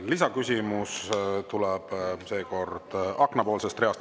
Lisaküsimus tuleb seekord aknapoolsest reast.